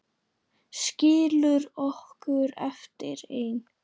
Skilur okkur eftir ein.